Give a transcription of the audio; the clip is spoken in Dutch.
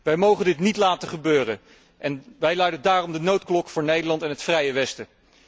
Wij mogen dit niet laten gebeuren en wij luiden daarom de noodklok voor Nederland en het vrije westen.